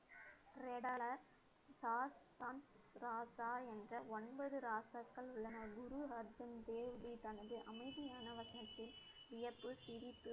ராசா என்ற ஒன்பது ராசாக்கள் உள்ளன குரு அர்ஜன் தேவி ஜி தனது அமைதியான வசனத்தில், வியப்பு, சிரிப்பு